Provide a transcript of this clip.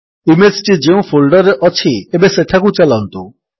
image ଟି ଯେଉଁ folder ରେ ଅଛି ଏବେ ସେଠାକୁ ଚାଲନ୍ତୁ